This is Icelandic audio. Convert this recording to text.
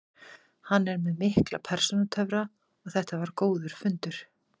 Hann er með mikla persónutöfra og þetta var góður fundur.